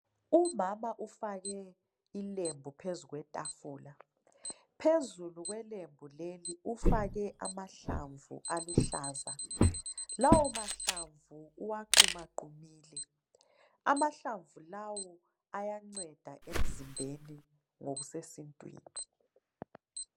Umama ufake ilembu phezu kwetafula. Phezulu kwelembu leli ufake amahlamvu aluhlaza. Lawo mahlamvu uwaqumaqumile. Lawo mahlamvu ayanceda emzimbeni ngokusesintwini.